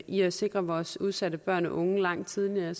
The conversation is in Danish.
i at sikre vores udsatte børn og unge langt tidligere